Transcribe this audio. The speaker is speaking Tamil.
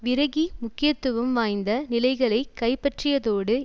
விரகி முக்கியத்துவம் வாய்ந்த நிலைகளை கைப்பற்றியதோடு